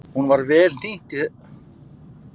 Hún var vel hnýtt í þetta sinn þótt hann væri án konunnar.